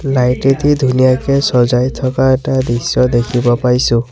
Light এটি ধুনীয়াকে চজাই থকা এটা দৃশ্য দেখিব পাইছোঁ।